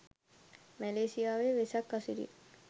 මැලේසියාවේ Vesak අසිරිය